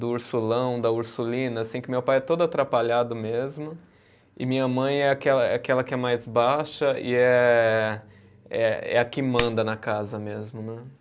Do Ursulão, da Ursulina, assim, que meu pai é todo atrapalhado mesmo e minha mãe é aquela, é aquela que é mais baixa e é, é a que manda na casa mesmo, né?